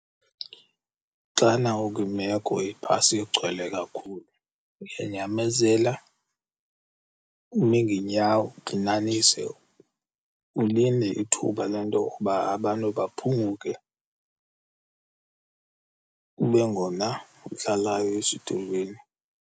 Xana ukwimeko ibhasi igcwele kakhulu, uyanyamezela, ume ngeenyawo, ugxinanise ulinde ithuba le nto yokuba abantu baphunguke kube ngona uhlalayo esitulweni.